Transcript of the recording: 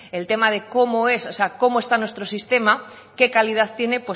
el tema de cómo es o sea cómo está nuestro sistema qué calidad tiene